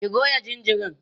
ki Goya jinjirin!